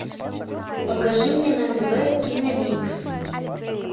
покажи мне на тв киномикс